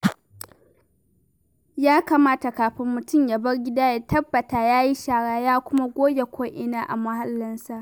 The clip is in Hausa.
Ya kamata kafin mutum ya bar gida, ya tabbata ya yi shara, ya kuma goge ko'ina a muhallinsa.